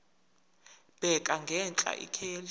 bheka ngenhla ikheli